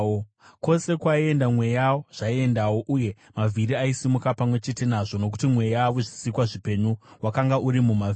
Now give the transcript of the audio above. Kwose kwaienda mweya, zvaiendawo, uye mavhiri aisimuka pamwe chete nazvo, nokuti mweya wezvisikwa zvipenyu wakanga uri mumavhiri.